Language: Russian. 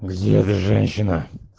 где женщина